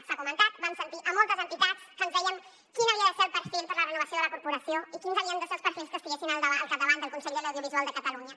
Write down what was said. s’ha comentat vam sentir moltes entitats que ens deien quin havia de ser el perfil per a la renovació de la corporació i quins havien de ser els perfils que estiguessin al capdavant del consell de l’audiovisual de catalunya